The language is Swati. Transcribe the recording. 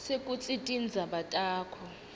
sekutsi tindzaba takho